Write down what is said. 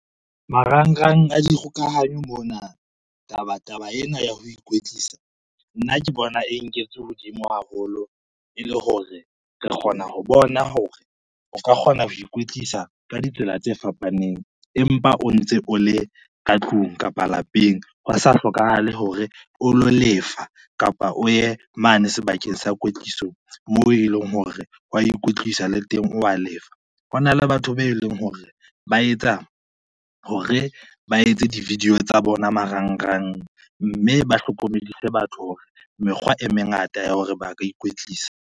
Marangrang a dikgokahanyo mona taba ena ya ho ikwetlisa, nna ke bona e nketswe hodimo haholo e le hore re kgona ho bona hore o ka kgona ho ikwetlisa ka ditsela tse fapaneng, empa o ntse o le ka tlung kapa lapeng, ho sa hlokahale hore o lo lefa kapa o ye mane sebakeng sa kwetliso moo e leng hore wa ikwetlisa le teng wa lefa. Hona le batho be leng hore ba etsa hore ba etse di-video tsa bona marangrang, mme ba hlokomedise batho hore mekgwa e mengata ya hore ba ka ikwetlisa.